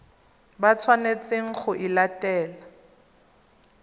ba tshwanetseng go e latela